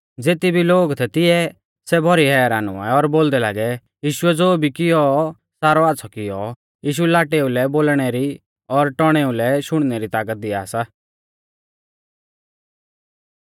ज़ेती भी लोग थै तिऐ सै भौरी हैरान हुऐ और बोलदै लागै यीशुऐ ज़ो भी कियौ सारौ आच़्छ़ौ कियौ यीशु लाटेउ लै बोलणै री और टौणेउ लै शुणनै री तागत दिया सा